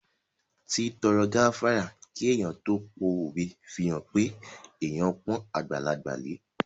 Títọrọ gáfárà kí èèyàn tó pówe fihàn pé èèyàn pọ́n àgbàlagbà lẹ